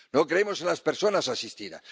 No creemos en las personas asistidas.